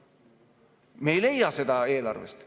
Aga me ei leia seda eelarvest.